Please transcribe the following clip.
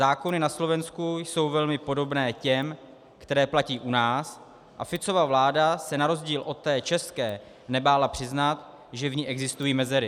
Zákony na Slovensku jsou velmi podobné těm, které platí u nás, a Ficova vláda se na rozdíl od té české nebála přiznat, že v ní existují mezery.